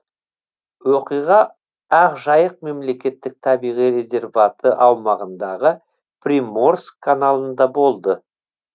оқиға ақжайық мемлекеттік табиғи резерваты аумағындағы приморск каналында болды